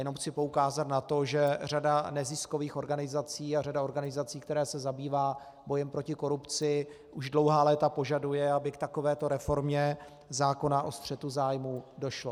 Jenom chci poukázat na to, že řada neziskových organizací a řada organizací, které se zabývají bojem proti korupci, už dlouhá léta požaduje, aby k takovéto reformě zákona o střetu zájmu došlo.